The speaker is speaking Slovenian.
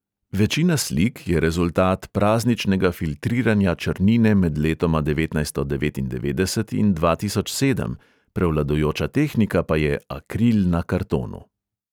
Večina slik je rezultat prazničnega filtriranja črnine med letoma devetnajststo devetindevetdeset in dva tisoč sedem, prevladujoča tehnika pa je akril na kartonu.